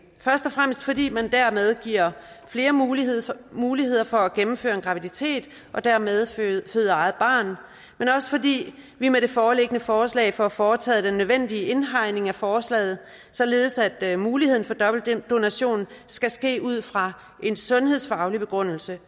først og fremmest fordi man dermed giver flere muligheder muligheder for at gennemføre en graviditet og dermed føde eget barn men også fordi vi med det foreliggende forslag får foretaget den nødvendige indhegning af forslaget således at muligheden for dobbeltdonation skal ske ud fra en sundhedsfaglig begrundelse